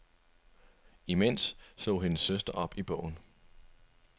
Imens slog hendes søster op i bogen.